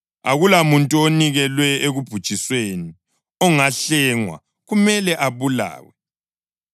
Akulamuntu onikelwe ekubhujisweni ongahlengwa; kumele abulawe.